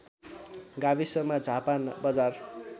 गाविसमा झापा बजार